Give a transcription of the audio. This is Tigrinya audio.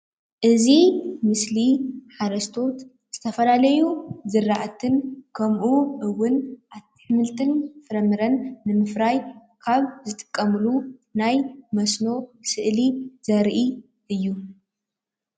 እዚ ምስሊ ሓረስቶት ዝተፈላለዩ ዝራእትን ከምኡ እዉን ኣሕምልትን ፍራምረን ብምፍራይ ካብ ዝጥቀሙሉ ናይ መስኖ ስእሊ ዘርኢ እዩ።